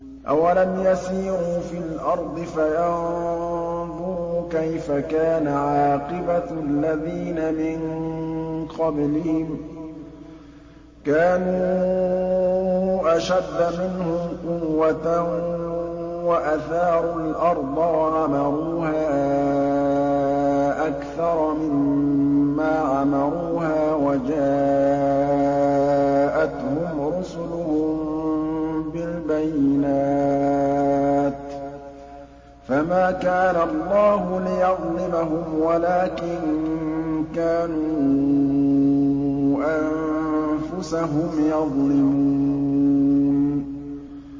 أَوَلَمْ يَسِيرُوا فِي الْأَرْضِ فَيَنظُرُوا كَيْفَ كَانَ عَاقِبَةُ الَّذِينَ مِن قَبْلِهِمْ ۚ كَانُوا أَشَدَّ مِنْهُمْ قُوَّةً وَأَثَارُوا الْأَرْضَ وَعَمَرُوهَا أَكْثَرَ مِمَّا عَمَرُوهَا وَجَاءَتْهُمْ رُسُلُهُم بِالْبَيِّنَاتِ ۖ فَمَا كَانَ اللَّهُ لِيَظْلِمَهُمْ وَلَٰكِن كَانُوا أَنفُسَهُمْ يَظْلِمُونَ